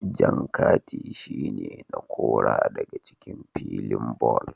Jan kati shi ne na Kora daga cikin filin ball.